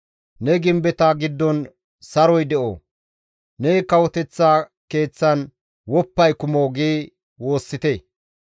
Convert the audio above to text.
Ne gimbeta giddon saroy de7o! Ne kawoteththa keeththan woppay kumo» gi woossite;